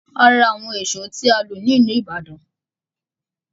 A ra àwọn èṣọ́ tí a lọ̀ ní ìlú Ibadan